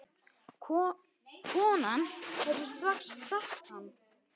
Konan hefði strax þekkt hann.